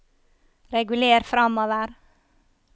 reguler framover